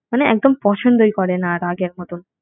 মানে একদম পছন্দই করে না আর আগের মতন